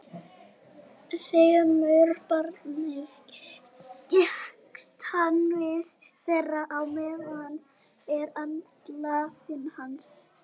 Þremur barnanna gekkst hann við, þeirra á meðal er alnafni hans.